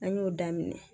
An y'o daminɛ